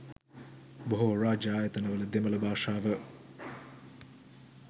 බොහෝ රාජ්‍ය ආයතනවල දෙමළ භාෂාව